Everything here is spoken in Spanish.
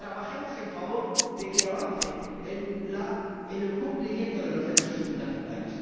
Trabajemos en favor de que avancen en el cumplimiento de los derechos fundamentales.